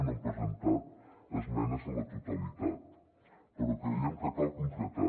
no hem presentat esmenes a la totalitat però creiem que cal concretar